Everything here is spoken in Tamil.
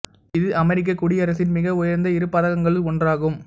இது அமெரிக்கக் குடியரசின் மிக உயர்ந்த இரு பதக்கங்களுள் ஒன்றாகும்